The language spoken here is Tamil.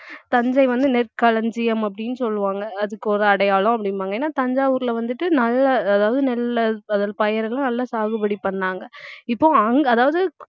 தஞ்சை வந்து நெற்களஞ்சியம் அப்படின்னு சொல்லுவாங்க அதுக்கு ஒரு அடையாளம் அப்படிம்பாங்க ஏன்னா தஞ்சாவூர்ல வந்துட்டு நல்ல அதாவது நெல்லை பயி~ பயிரெல்லாம் நல்லா சாகுபடி பண்ணாங்க இப்போ அங்~ அதாவது